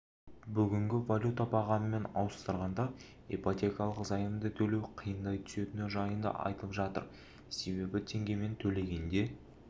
бүгінгі валюта бағамымен ауыстырғанда ипотекалық заемды төлеу қиындай түсетіні жайында айтып жатыр себебі теңгемен төлегенде